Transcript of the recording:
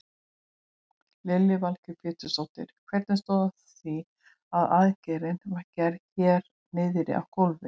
Lillý Valgerður Pétursdóttir: Hvernig stóð á því að aðgerðin var gerð hérna niðri á gólfi?